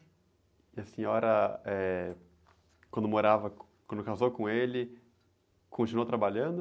E a senhora, eh, quando morava, quando casou com ele, continuou trabalhando?